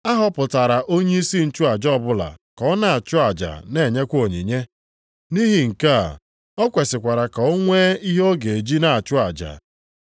A họpụtara onyeisi nchụaja ọbụla ka ọ na-achụ aja na-enyekwa onyinye. Nʼihi nke a, o kwesikwara ka ọ nwee ihe ọ ga-eji na-achụ aja.